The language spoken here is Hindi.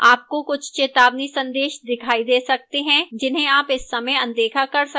आपको कुछ चेतावनी संदेश दिखाई दे सकते हैं जिन्हें आप इस समय अनदेखा कर सकते हैं